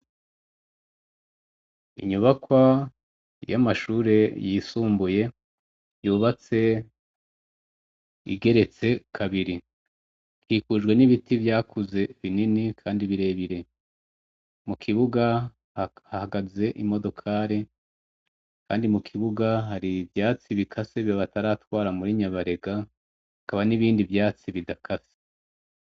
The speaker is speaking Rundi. Inyubakwa yamashure yisumbuye yubatse igeretse kabiri ikikujwe nibiti vyakuze bibiri binini kandi birebire mukibuga hahagaze imodokori kandi mukibuga hari ivyatsi bikase bataratwara muri nyabarega hakaba nibindi vyatsi bidakase